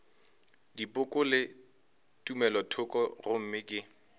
dipoko le tumelothoko gomme ke